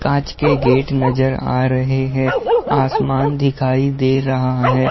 काँच के गेट नज़र आ रहे है| आसमान दिखाई दे रहा है।